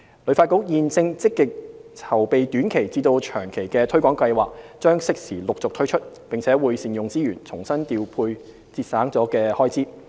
旅發局現正積極籌備短期至長期的推廣計劃，將適時陸續推出，並會善用資源，重新調撥節省了的開支。